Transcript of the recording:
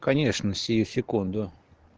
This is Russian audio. конечно сию секунду